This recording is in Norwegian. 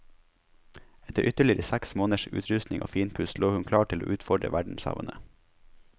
Etter ytterligere seks måneders utrustning og finpuss lå hun klar til å utfordre verdenshavene.